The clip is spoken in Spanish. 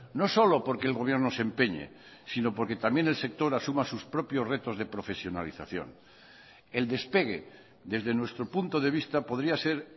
no solo porque el gobierno se empeñe sino porque también el sector asuma sus propios retos de profesionalización el despegue desde nuestro punto de vista podría ser